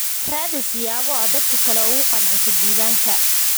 Raadi siyaabo aad dadka kale ugu qanciso diiwaanka.